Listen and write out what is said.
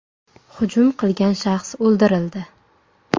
Hujum qilgan shaxs o‘ldirildi.